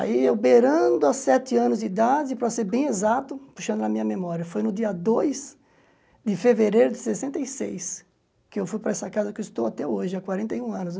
Aí, eu beirando aos sete anos de idade, para ser bem exato, puxando na minha memória, foi no dia dois de fevereiro de sessenta e seis, que eu fui para essa casa que estou até hoje, há quarenta e um anos.